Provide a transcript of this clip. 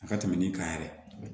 A ka tɛmɛ nin kan yɛrɛ